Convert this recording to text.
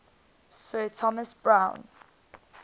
sir thomas browne